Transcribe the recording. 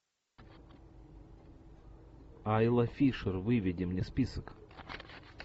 айла фишер выведи мне список